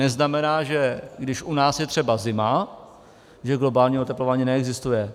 Neznamená, že když u nás je třeba zima, že globální oteplování neexistuje.